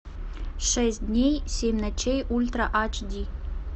шесть дней семь ночей ультра ач ди